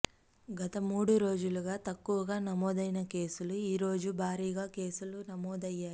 గత మూడు రోజులుగా తక్కువగా నమోదైన కేసులు ఈ రోజు భారీగా కేసులు నమోదయ్యాయి